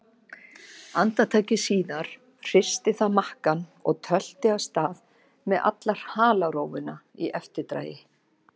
Andartaki síðar hristi það makkann og tölti af stað með alla halarófuna í eftirdragi.